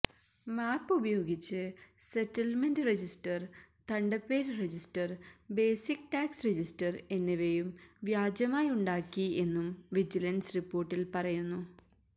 മാപ്പുപയോഗിച്ച് settlement register തണ്ടപ്പേര് register basic tax register എന്നിവയും വ്യാജമായുണ്ടാക്കിയെന്നും വിജിലന്സ് റിപ്പോര്ട്ടില് പറയുന്നു